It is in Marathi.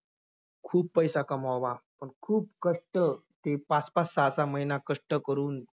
खूप पैसा कमवावा, अह खूप कष्ट ते पाच-पाच, सहा-सहा महिना कष्ट करून